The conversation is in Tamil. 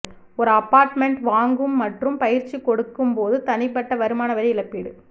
ஒரு அபார்ட்மெண்ட் வாங்கும் மற்றும் பயிற்சி கொடுக்க போது தனிப்பட்ட வருமான வரி இழப்பீடு